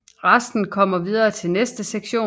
Resten kommer videre til næste sektion